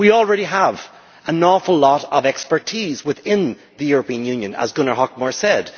We already have an awful lot of expertise within the European Union, as Gunnar Hökmark said.